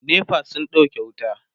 NEPA sun ɗauke wuta